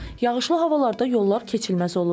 Yağışlı havalarda yollar keçilməz olur.